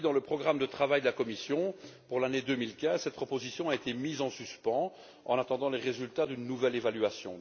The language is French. Puis, dans le programme de travail de la Commission pour l'année 2015, cette proposition a été mise en suspens en attendant les résultats d'une nouvelle évaluation.